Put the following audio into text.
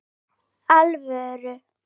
Fyrir alvöru.